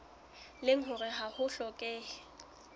leng hore ha ho hlokehe